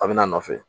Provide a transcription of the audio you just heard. A bɛ n'a nɔfɛ